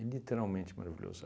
É literalmente maravilhoso.